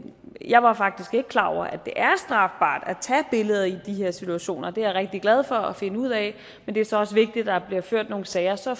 jeg var faktisk ikke klar over at det er strafbart at tage billeder i de her situationer og det er jeg rigtig glad for at finde ud af men det er så også vigtigt at der bliver ført nogle sager så